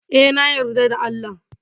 Eh, na yarda da Allah.